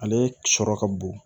Ale sɔrɔ ka bon